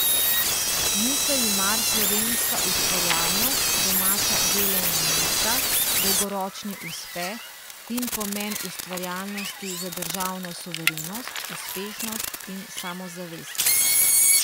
Niso ji mar slovenska ustvarjalnost, domača delovna mesta, dolgoročni uspeh in pomen ustvarjalnosti za državno suverenost, uspešnost in samozavest.